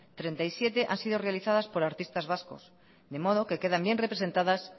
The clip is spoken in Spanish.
treinta y siete han sido realizadas por artistas vasco de modo que quedan bien representadas